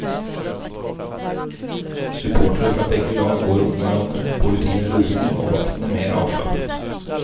Supportere fra begge lag går omhverandre, politiet er rolige og vaktene mer avslappet.